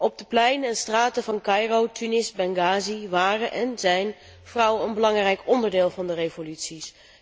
Op de pleinen en straten van Caïro, Tunis, Benghazi waren en zijn vrouwen een belangrijk onderdeel van de revoluties.